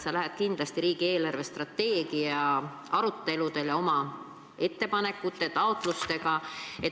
Sa lähed kindlasti riigi eelarvestrateegia aruteludele oma ettepanekute ja taotlustega.